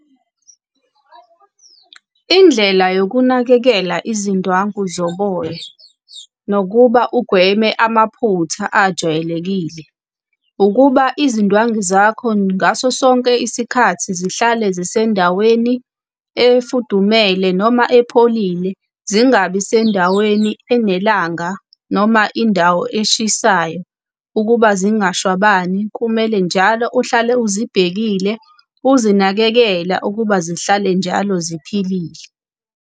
Indlela yokunakekela izindwangu zoboya nokuba ugweme amaphutha ajwayelekile, ukuba izindwangu zakho ngaso sonke isikhathi zihlale zisendaweni efudumele noma epholile, zingabi sendaweni enelanga noma indawo eshisayo. Ukuba zingashwabani, kumele njalo ohlale uzibhekile uzinakekela ukuba zihlale njalo ziphilile.